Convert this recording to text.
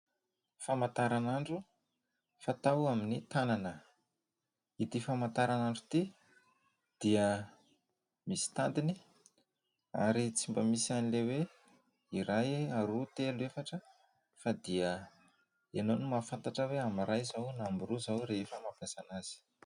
Famantaranandro fatao amin'ny tanana. Ity famataranandro ity dia misy tadiny ary tsy mba misy an'ilay hoe iray, roa, telo, efatra fa dia ianao no mahafantatra amin'ny iray izao na amin'ny roa izao rehefa mampiasa anazy.